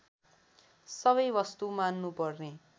सबै वस्तु मान्नुपर्ने